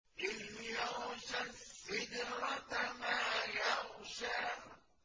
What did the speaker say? إِذْ يَغْشَى السِّدْرَةَ مَا يَغْشَىٰ